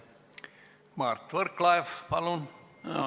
Mart Võrklaev, palun!